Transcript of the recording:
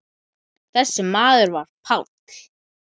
Þessi maður var Páll.